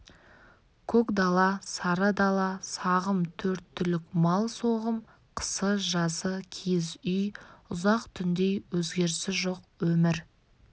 көк дала сары дала сағым төрт түлік мал соғым қысы-жазы киіз үй ұзақ түндей өзгерісі жоқ өмір